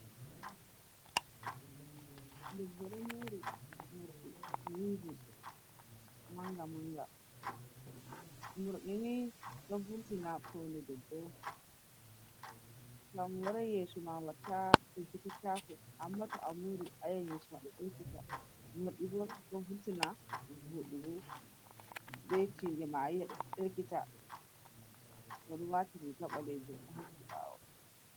Ɗebbo ɗo muri murɗi wi'ivin manga-manga. Murɗini ɗon furtina fauni ɗebbo on. To amorai yesoma watta ilkititko. Amma to amuri ayi an yesoma ɗelkita. Murɗibo ɗo vurtina voɗugo. Be tiɗema ayiai ɗo ɗelkita. Oɗo wati riga balejum hokki bawo.